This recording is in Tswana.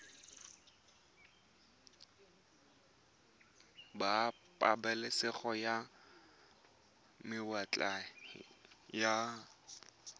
ba pabalesego ya mawatle ba